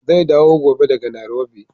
Zai dawo gobe daga Nairobi.